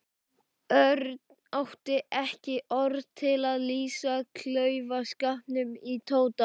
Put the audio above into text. Örn átti ekki orð til að lýsa klaufaskapnum í Tóta.